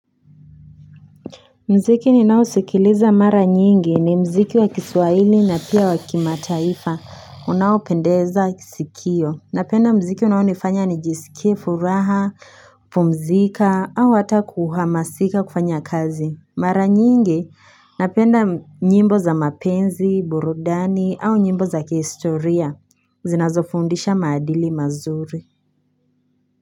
Muziki ni nao sikiliza mara nyingi ni muziki wa kiswahili na pia wakimataifa unao pendeza sikio. Napenda muziki unao nifanya nijisikie furaha, pumzika au hata kuhama sika kufanya kazi. Mara nyingi napenda nyimbo za mapenzi, burudani au nyimbo za kihistoria. Zinazo fundisha maadili mazuri.